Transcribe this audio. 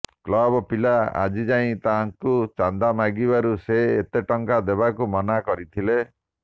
club ପିଲା ଆଜି ଯାଇ ତାଙ୍କୁ ଚାନ୍ଦା ମାଗିବାରୁ ସେ ଏତେ ଟଙ୍କା ଦେବାକୁ ମନା କରିଥିଲେ